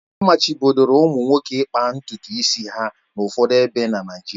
Amachibidoro ụmụ nwoke ịkpa ntutu isi ha n'ụfọdụ ebe na Naịjirịa